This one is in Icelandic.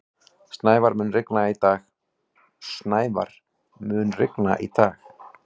Snævar, mun rigna í dag?